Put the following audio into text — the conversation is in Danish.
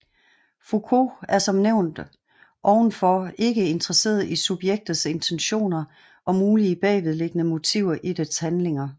Foucault er som nævnt ovenfor ikke interesseret i subjektets intentioner og mulige bagvedliggende motiver i dets handlinger